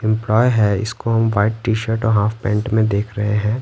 Employee है इसको हम व्हाइट टी शर्ट और हाफ पैंट में देख रहे हैं।